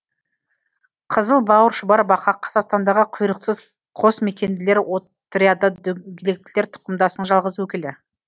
қызыл бауыр шұбар бақа қазақстандағы құйрықсыз қосмекенділер отряды дөңгелектілер тұқымдасының жалғыз өкілі